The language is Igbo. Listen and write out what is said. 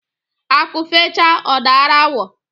Akụ fechaa ọ daara awọ.